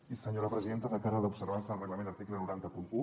i senyora presidenta de cara a l’observança del reglament article nou cents i un